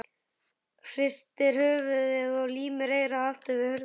Hristir höfuðið og límir eyrað aftur við hurðina.